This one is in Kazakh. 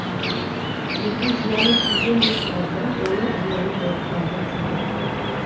елге зияны тиген де шығар бірақ оның зияны байға тиді